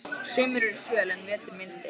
Sumur eru svöl en vetur mildir.